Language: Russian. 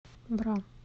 бра